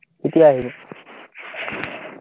কেতিয়া আহিব?